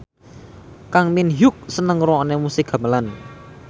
Kang Min Hyuk seneng ngrungokne musik gamelan